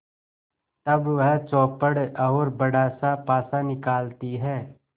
तब वह चौपड़ और बड़ासा पासा निकालती है